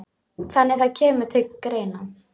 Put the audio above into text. Þannig að það kemur til greina?